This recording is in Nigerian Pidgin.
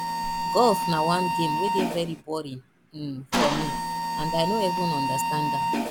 golf na one game wey dey very boring um for me and i no even understand am